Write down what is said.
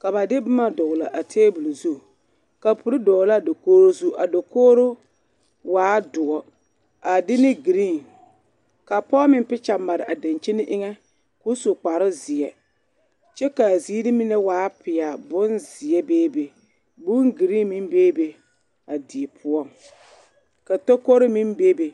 ka ba de boma dɔɡele a taabul zu kaouri dɔɔ la a dakoɡi zu a dakoɡro waa doɔ a de ne ɡree ka pɔɔ meŋ pikya mare a daŋkyini eŋɛ ka o su kparzeɛ kyɛ ka a ziiri mine waa pelaa bonzeɛ beebe bonɡree meŋ bebe a die poɔŋ ka takoro meŋ bebe.